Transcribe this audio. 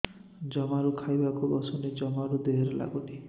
ଜମାରୁ ଖାଇବାକୁ ବସୁନି ଜମାରୁ ଦେହରେ ଲାଗୁନି